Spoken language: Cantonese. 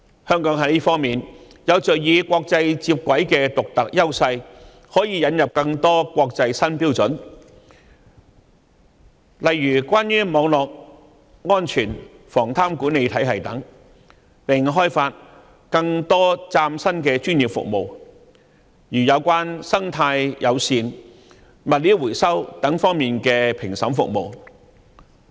香港在這方面有着與國際接軌的獨特優勢，可以引入更多國際新標準，例如關於網絡安全和防貪管理體系等，並開發更多嶄新的專業服務，例如有關生態友善和物料回收等方面的評審服務。